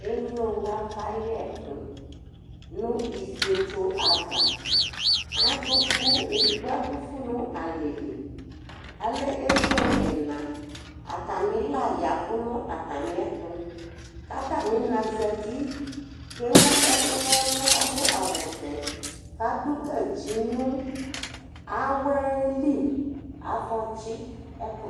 Ẹmlo wa kayɛ ku nu ɩfɩetso ava Aɖuvu eɖɩgɓo ạɖuvu na alɛli Alɛ emlo ɛna Atamila yavu nu atamɩɛtu, katamɩna zatɩ kewu ɛku nɛlu kaɖu awu vɛ, kaɖu gatsɩ nu awɛli Akatsɩ ɛku yɛ